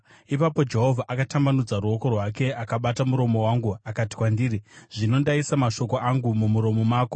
Ipapo Jehovha akatambanudza ruoko rwake akabata muromo wangu akati kwandiri, “Zvino ndaisa mashoko angu mumuromo mako.